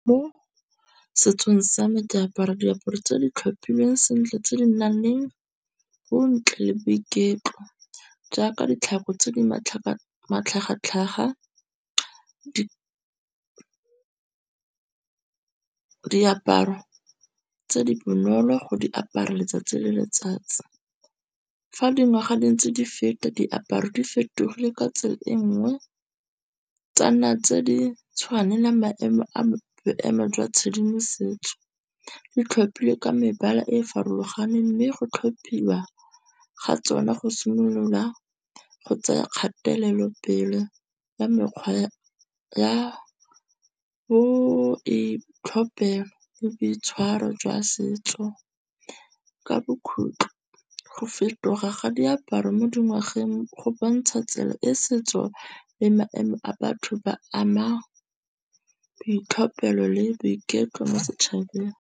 Mo setsong sa me diaparo tse di tlhophilweng sentle tse di nang leng go ntle le boiketlo, jaaka ditlhako tse di matlhagatlhaga diaparo tse di bonolo go di apara letsatsi le letsatsi. Fa dingwaga di ntse di feta diaparo di fetogile ka tsela e nngwe, tsa nna tse di tshwanelang maemo a boemo jwa tshedimosetso. Di tlhopilwe ka mebala e e farologaneng. Mme go tlhophiwa ga tsona go simolola go tsaya kgatelelo pelo ya mekgwa ya bo itlhopela le boitshwaro jwa setso. Ka bokhutlo go fetoga ga diaparo mo dingwageng go bontsha tsela e setso le maemo a batho ba ama boitlhophelo le boiketlo mo setšhabeng.